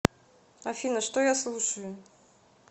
афина что я слушаю